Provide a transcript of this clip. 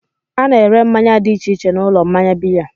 A na-ere mmanya dị iche iche n'ụlọ mmanya biya.